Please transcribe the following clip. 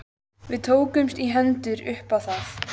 Við tókumst í hendur upp á það.